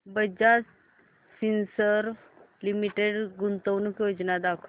Bajaj Finserv Limited गुंतवणूक योजना दाखव